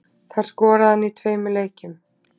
Þar skoraði hann í tveimur leikjum